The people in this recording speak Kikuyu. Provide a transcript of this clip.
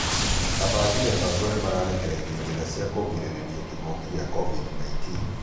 Afangi mibango nĩmarekereirie njĩra cia kugrĩrĩria kĩngũki gia covid-19